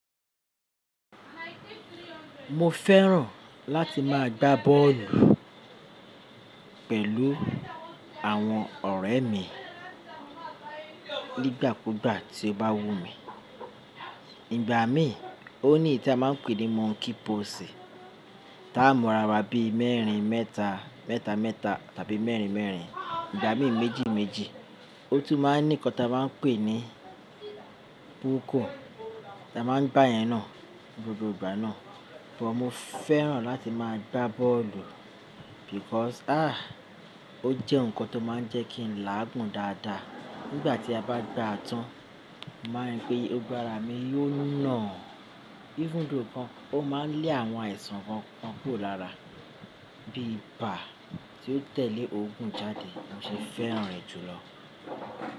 Mo fẹ́ràn láti máa gbá bọ́ọ̀lù pẹ̀lú àwọn ọ̀rẹ́ mi nígbàkúgbà tí ó bá wù mí. Igbà mí, ó ní ìta máa ń pè ní monkey pose ta mọ́ra ara bí mẹ́rin mẹ́ta, mẹ́ta mẹ́ta tàbí mẹ́rin mẹ́rin, ìgbà mí méjì méjì. Ó tún máa ń ní nǹkan ta máa ń pè ní puku ta máa ń bá yẹn nà gbogbo ìgbà náà. But mo fẹ́ràn láti máa gbá bọ́ọ̀lù because ah! Ó jẹ́ nǹkan tó máa ń jẹ́ kí n láàgùn dáadáa. Nígbà tí a bá gbá a tán, màá mọ̀ pé ogbára mi yóò nà. Even though kan, ó máa ń lé àwọn àìsàn kan kàn kúrò lára bí i ibà tí ó tẹ̀lé ogún jáde. Mo sì fẹ́ràn rẹ̀ jùlọ.